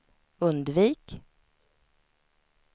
undvik